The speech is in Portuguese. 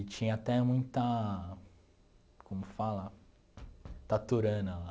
E tinha até muita, como fala, taturana lá.